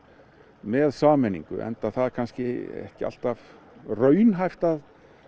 með sameiningu enda það kannski ekki alltaf raunhæft að